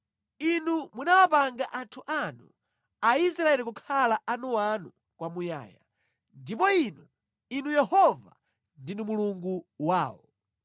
Inu munawapanga anthu anu Aisraeli kukhala anuanu kwamuyaya, ndipo Inu, Inu Yehova ndinu Mulungu wawo.